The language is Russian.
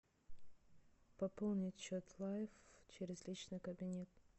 пополнить счет лайф через личный кабинет